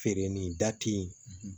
Feere ni da te yen